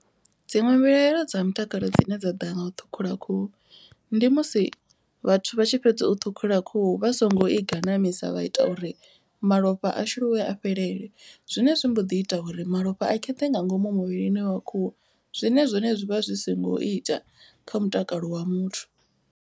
Dziṅwe mbilaelo dza mutakalo dzine dza ḓa nga u ṱhukhula khuhu. Ndi musi vhathu vha tshi fhedza u ṱhukhula khuhu vha songo i ganamisa vha ita uri malofha a shuluwe a fhelele. Zwine zwi mboḓi ita uri malofha a kheṱhe nga ngomu muvhilini wa khuhu. Zwine zwone zwivha zwi songo ita kha mutakalo wa muthu.